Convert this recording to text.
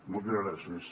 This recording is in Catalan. moltes gràcies